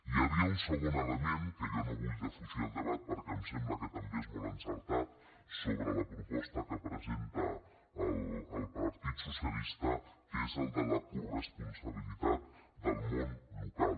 hi havia un segon element que jo no en vull defugir el debat perquè em sembla que també és molt encertat sobre la proposta que presenta el partit socialista que és el de la coresponsabilitat del món local